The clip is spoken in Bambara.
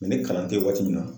Mɛ ni kalan tɛ yen waati min na